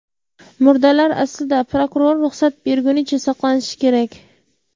Murdalar aslida prokuror ruxsat bergunicha saqlanishi kerak.